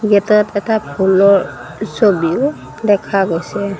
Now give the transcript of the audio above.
গেটত এটা ফুলৰ ছবিও দেখা গৈছে।